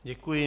Děkuji.